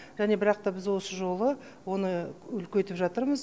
және бірақ та біз осы жолы оны үлкейтіп жатырмыз